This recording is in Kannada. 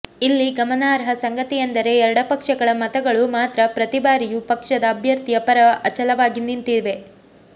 ಇಲ್ಲಿ ಗಮನಾರ್ಹ ಸಂಗತಿಯೆಂದರೆ ಎಡಪಕ್ಷಗಳ ಮತಗಳು ಮಾತ್ರ ಪ್ರತಿ ಬಾರಿಯೂ ಪಕ್ಷದ ಅಭ್ಯರ್ಥಿಯ ಪರ ಅಚಲವಾಗಿ ನಿಂತಿವೆ